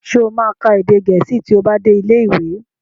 Sọ ma ka èdè Gẹ̀ẹ́sì tí ó bá dé ilé ìwé?